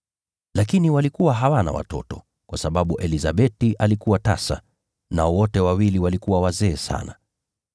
Lakini walikuwa hawana watoto, kwa sababu Elizabeti alikuwa tasa; nao wote wawili walikuwa wazee sana.